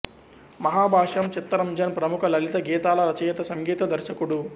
మహాభాష్యం చిత్తరంజన్ ప్రముఖ లలిత గీతాల రచయిత సంగీత దర్శకుడు